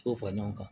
Dɔw fara ɲɔgɔn kan